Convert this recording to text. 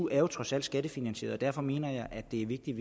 er jo trods alt skattefinansieret og derfor mener jeg at det er vigtigt